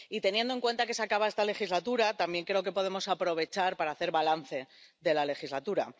Y, teniendo en cuenta que se acaba esta legislatura, también creo que podemos aprovechar para hacer balance de la legislatura.